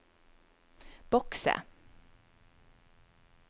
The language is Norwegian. bokse